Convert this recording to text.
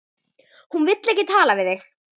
Hún vill ekki tala við þig!